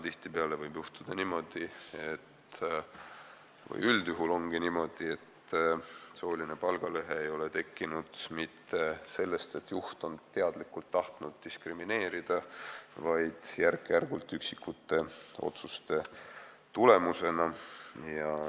Tihtipeale võib juhtuda niimoodi või üldjuhul ongi niimoodi, et sooline palgalõhe ei ole tekkinud mitte sellest, et juht on teadlikult tahtnud diskrimineerida, vaid see on tekkinud järk-järgult, üksikute otsuste tulemusena.